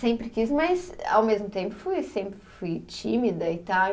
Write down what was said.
Sempre quis, mas ao mesmo tempo fui, sempre fui tímida e tal.